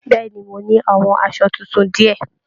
Bẹ̀ẹ́ni, mọ ní àwọn aṣọ títún diẹ.